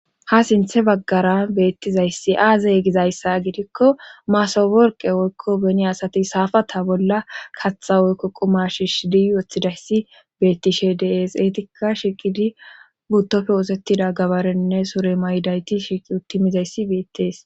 Ha sinthe baggara beettizayssi aazey gizayssa gidikko maasaworqe woykko beni asati saafata bolla katha woykko quma shiishidi woththidayssi beettishe dees eetika shiqidi buttopfe oosettida gabarenne sure may7i dayti shiqi uttimizayssi beettees.